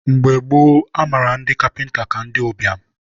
mgbe gboo, a mara ndi kapịnta ka ndị ụbịam